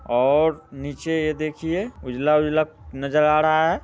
और नीचे यह देखिए उजला उजला नज़र आ रहा है।